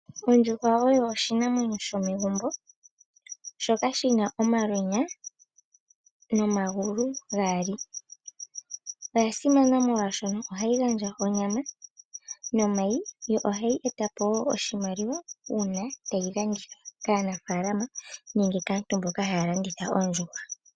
Oondjuhwa oyo oshinamwenyo shomegumbo shoka shina omalweenya nomagulu gaali, oyasimana molwashono ohayi gandja onyama nomayi, yo ohayi etapo wo oshimaliwa uuna ta yi landithwa kaanafaalama nenge kaantu mboka ha ya landitha oondjuhwa.